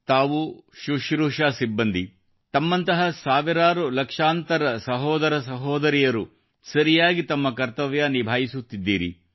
ಭಾವನಾ ಅವರೇ ಮತ್ತು ಶುಶ್ರೂಷೆ ಸಿಬ್ಬಂದಿ ತಮ್ಮಂಥಹ ಸಾವಿರಾರುಲಕ್ಷಾಂತರ ಸಹೋದರಸಹೋದರಿಯರು ಸರಿಯಾಗಿ ತಮ್ಮ ಕರ್ತವ್ಯ ನಿಭಾಯಿಸುತ್ತಿದ್ದೀರಿ